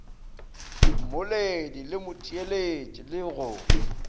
mmoledi le motheeletši le go